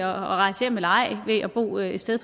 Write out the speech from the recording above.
rejse hjem eller ej ved at bo et sted